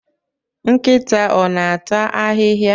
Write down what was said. Nkịta ọ na-ata ahịhịa?